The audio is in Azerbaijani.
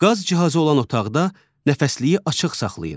Qaz cihazı olan otaqda nəfəsliyi açıq saxlayın.